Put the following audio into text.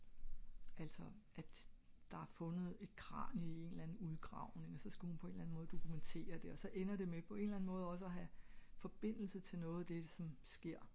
altså at der er fundet et kranie i en eller anden udgravning og så skal hun på en eller anden måde dokumenterer det og så ender det på en eller anden måde også ha forbindelse til noget det som sker